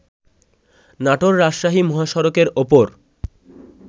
নাটোর-রাজশাহী মহাসড়কের ওপর